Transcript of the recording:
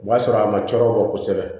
O b'a sɔrɔ a ma cɔrɔ o kɔ kosɛbɛ